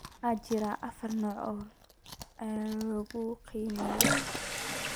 Waxaa jira afar nooc oo caan ah oo leukemia ah.